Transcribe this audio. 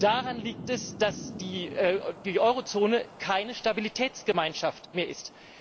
Daran liegt es, dass die Eurozone keine Stabilitätsgemeinschaft mehr ist.